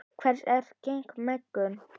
Hvers eru gen megnug?